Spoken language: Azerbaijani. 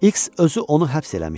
X özü onu həbs eləmişdi.